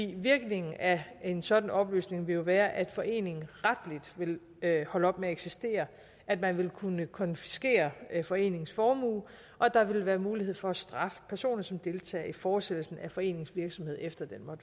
virkningen af en sådan opløsning ville jo være at foreningen retligt ville holde op med at eksistere at man ville kunne konfiskere foreningens formue og at der ville være mulighed for at straffe personer som deltager i fortsættelsen af foreningens virksomhed efter at